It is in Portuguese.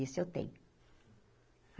Isso eu tenho.